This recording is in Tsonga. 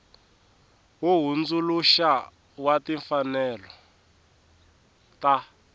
wo hundzuluxa wa timfanelo ta